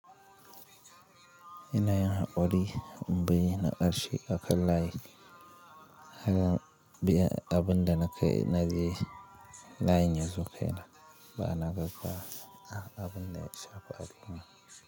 Ina yin haƙuri, m bayyana ƙarshe akan layi. Haka abin da na kai na je layin yazo kai na, ba na gaggawa a abin da ya shafa al'umma.